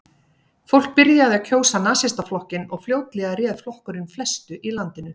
Fólkið byrjaði að kjósa Nasistaflokkinn og fljótlega réð flokkurinn flestu í landinu.